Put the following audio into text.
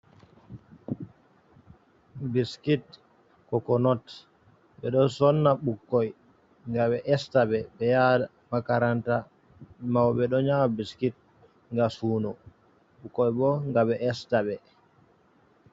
Biskit kokonot ɓeɗo sonna ɓukkoi ga ɓe esta ɓe ɓe yaha makaranta, mauɓe ɗo nyama biskit gam suno ɓukkoi bo gam ɓe esta ɓe.